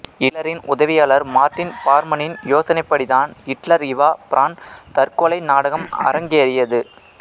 இட்லரின் உதவியாளர் மார்டின் பார்மனின் யோசனைப்படிதான் இட்லர்இவா பிரான் தற்கொலை நாடகம் அரங்கேறியது